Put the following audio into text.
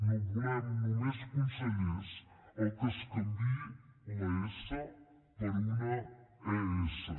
no volem només consellers als quals es canviï la essa per una e essa